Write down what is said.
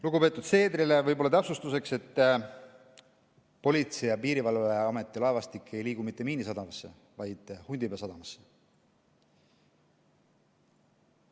Lugupeetud Seedrile täpsustuseks, et Politsei‑ ja Piirivalveameti laevastik ei liigu mitte Miinisadamasse, vaid Hundipea sadamasse.